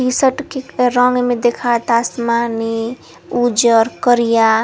T shirt के रंग में दिखाता आसमानी उजर करिया।